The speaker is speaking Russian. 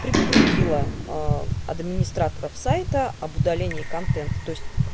предупредила ээ администраторов сайта об удалении контента то есть